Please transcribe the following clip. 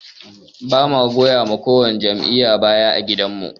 Bamu goyawa ko wani jam'iyya baya ã gidan mu.